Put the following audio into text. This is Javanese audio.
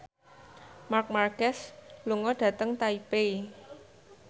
Marc Marquez lunga dhateng Taipei